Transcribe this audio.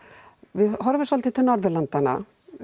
við horfum svolítið til Norðurlandanna